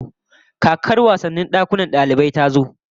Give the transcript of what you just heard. Kakar wasannin dakunan dalibai ta zo